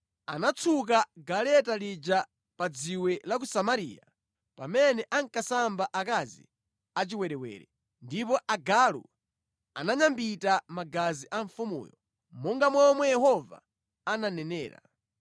Anatsuka galeta lija pa dziwe la ku Samariya (pamene ankasamba akazi achiwerewere) ndipo agalu ananyambita magazi a mfumuyo, monga momwe Yehova ananenera.